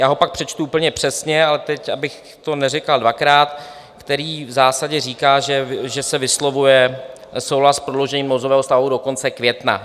Já ho pak přečtu úplně přesně, ale teď, abych to neříkal dvakrát... který v zásadě říká, že se vyslovuje souhlas s prodloužením nouzového stavu do konce května.